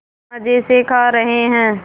मज़े से खा रहे हैं